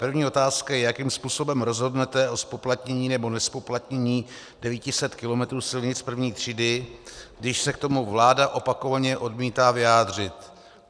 První otázka je, jakým způsobem rozhodnete o zpoplatnění nebo nezpoplatnění 900 km silnic I. třídy, když se k tomu vláda opakovaně odmítá vyjádřit.